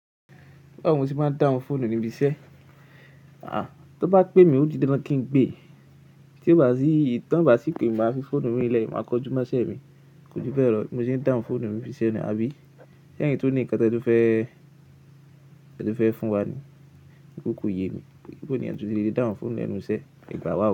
Báwo ni mo ti máa ń dáhùn fóònù níbi iṣẹ́? Àá tán bá pé mi ò ti di dandan kí n gbé, tí ó bá sì tán bá sì pè máa fi fóònù mi lẹ́ẹ̀ máa kọjú máṣẹ́ mi. Kò jù bẹ́ẹ̀ lọ, tí mo ṣe ń dáhùn fóònù mi bíṣẹ́ ni, àbí? Ṣé ẹ̀yin tún ní ǹkan tí ẹ tú fẹ́, ẹ tú fẹ́ fun wa ni, torí kó yé mi. Báwo ni ènìyàn tún ṣe le dáhùn fóònù lẹ́nu iṣẹ́, ẹ gbà wá o.